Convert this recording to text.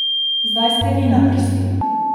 Zdaj ste vi na vrsti...